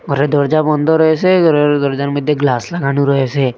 ঘরের দরজা বন্ধ রয়েসে ঘরের দরজার মধ্যে গ্লাস লাগানো রয়েসে।